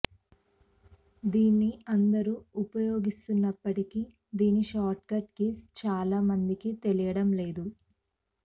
దీన్ని అందరూ ఉపయోగిస్తున్నప్పటికీ దీని షార్ట్ కట్ కీస్ చాలామందికి తెలియడం లేదు